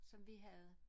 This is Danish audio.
Som vi havde